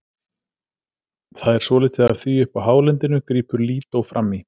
Það er svolítið af því uppi á hálendinu, grípur Lídó fram í.